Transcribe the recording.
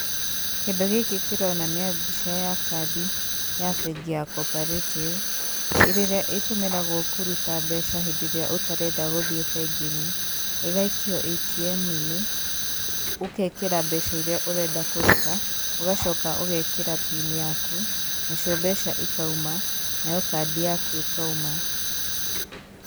Kĩndũ gĩkĩ kĩronania mbica ya kandi ya bengi ya cooperative ĩrĩa ĩtũmĩragwo kũruta mbeca hĩndĩ ĩrĩa ũtarenda gũthiĩ bengi-inĩ, ĩgaikio ATM-inĩ, ũgekĩra mbeca iria ũrenda kũruta, ũgacoka ũgekĩra pin yaku nacio mbeca ikauma nayo kandi yaku ĩkoima.